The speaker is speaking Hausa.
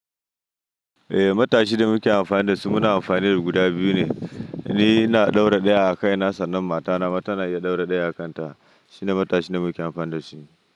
Eh, matashi da muke amfani da su muna amfani da guda biyu ne, ni ina ɗaura ɗaya a kaina sannan matana ma tana iya ɗaura ɗaya a kanta. Shine matashin da muke amfani da shi.